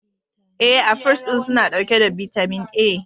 E, afuls din suna dauke da bitamin A.